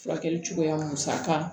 Furakɛli cogoya musa kan